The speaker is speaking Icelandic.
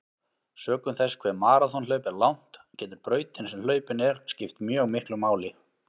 Sökum þess hve maraþonhlaup er langt getur brautin sem hlaupin er skipt mjög miklu máli.